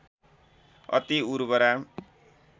अति उर्वरा